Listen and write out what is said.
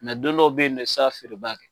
don dɔw bɛ yen nɔ i tɛ s'a feereba kɛ.